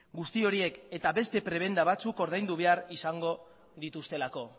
guzti horiek eta beste prebenda batzuk ordaindu behar izango dituztelako